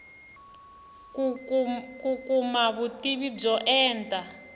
ku kuma vutivi byo enta